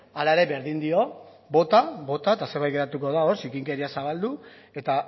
hala ere berdin dio bota bota eta zerbait geratuko da hor zikinkeria zabaldu eta